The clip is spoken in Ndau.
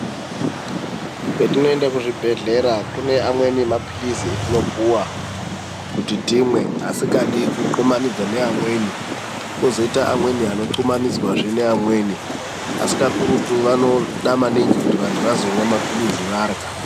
Petinoenda kuzvibhedhlera pane amweni mapirizi atinopiwa kuti time asikadi kuthumanidza neamweni kuzoita amwe anothumanidzwa neamweni asi kakurutu vanoda maningi kuti vanhu vazomwa mapirizi varya .